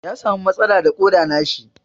Ya samu matsala da Koda na shi.